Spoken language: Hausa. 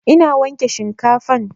Ina wanke shinkafan